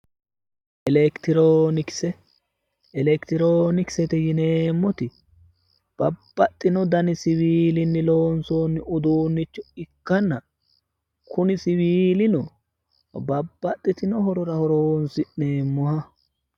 electiroonikise electiroonikisete yineemmote babbaxino dani siwiilinni loonsoonni uduunnicho ikkanna kuni siwiilino babbaxitino horora horonsi'neemmoha